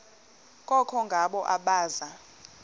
koko ngabo abaza